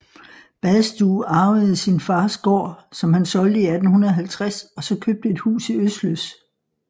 Badstue arvede sin fars gård som han solgte i 1850 og så købte et hus i Øsløs